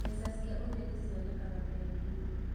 Mbeca cia ũgeni cionekanaga bengi-inĩ.